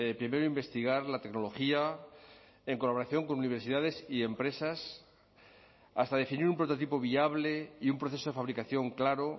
primero investigar la tecnología en colaboración con universidades y empresas hasta definir un prototipo viable y un proceso de fabricación claro